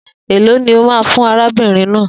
E lọ ni ó ma fún arábìnrin náà?